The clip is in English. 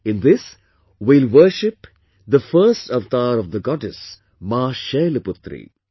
In this, we will worship the first avatar of Goddess 'Maa Shailputri'